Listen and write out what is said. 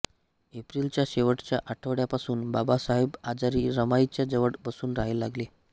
एप्रिलच्या शेवटच्या आठवड्यापासून बाबासाहेब आजारी रमाईच्या जवळ बसून राहू लागले